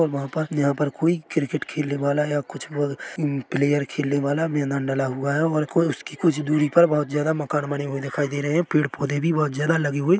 और वहाँ पर यहाँ पर कोई क्रिकेट खेलने वाला है और कुछ और प्लेयर खेलने वाला मैदान डला हुआ है और कोई उसकी कुछ दुरी पर बहुत ज्यादा मकान बने हुए दिखाई दे रहे है और पेड़-पौधे भी बहुत ज्यादा लगे हुए--